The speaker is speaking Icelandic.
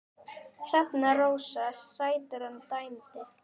Hrefna Rósa Sætran dæmdi.